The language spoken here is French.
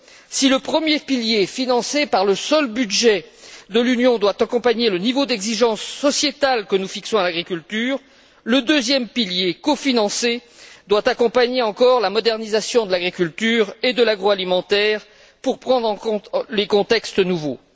Si le premier pilier, financé par le seul budget de l'Union, doit accompagner le niveau d'exigences sociétales que nous fixons à l'agriculture, le deuxième pilier, cofinancé, doit accompagner encore la modernisation de l'agriculture et de l'agroalimentaire pour prendre en compte les contextes nouveaux.